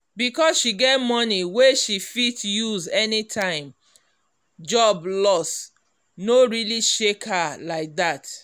because she get money wey she fit use anytime job loss no really shake her like that.